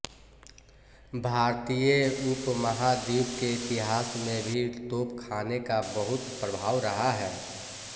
भारतीय उपमहाद्वीप के इतिहास में भी तोपख़ाने का बहुत प्रभाव रहा है